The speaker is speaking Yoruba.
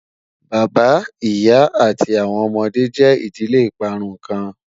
Bàbá, ìyà, àti awọn ọmọde jẹ́ ìdílé ìparún kan